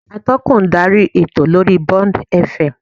Atọ́kùn ń darí ètò lórí Bond F. M